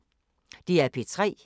DR P3